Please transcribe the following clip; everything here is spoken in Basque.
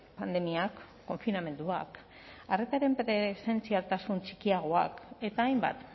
pandemiak konfinamenduak arretaren presentzialtasun txikiagoak eta hainbat